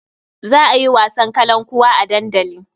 Za a yi wasan kalankuwa a dandali.